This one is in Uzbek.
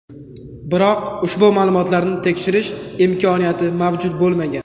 Biroq ushbu ma’lumotlarni tekshirish imkoniyati mavjud bo‘lmagan.